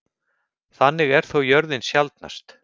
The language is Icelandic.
Þannig er þó jörðin sjaldnast.